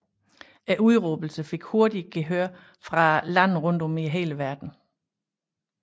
Udråbelsen fik hurtigt gehør fra lande rundt om i hele verden